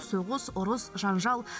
соғыс ұрыс жанжал